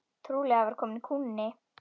Trúlega var kominn kúnni.